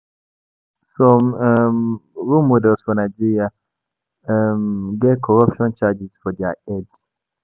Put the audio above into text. Some um role models for Nigeria um get corruption charges for their head